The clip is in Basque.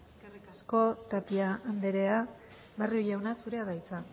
eskerrik asko tapia andrea barrio jauna zurea da hitza